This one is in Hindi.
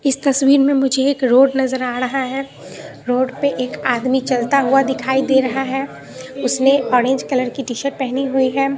इस तस्वीर में मुझे एक रोड नजर आ रहा है रोड पे एक आदमी चलता हुआ दिखाई दे रहा है उसने ऑरेंज कलर की टी शर्ट पहनी हुई है।